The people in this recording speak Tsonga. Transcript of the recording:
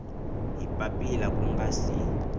hi papila ku nga si